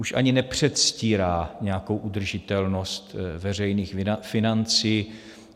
Už ani nepředstírá nějakou udržitelnost veřejných financí.